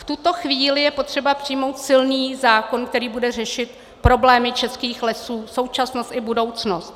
V tuto chvíli je potřeba přijmout silný zákon, který bude řešit problémy českých lesů, současnost i budoucnost.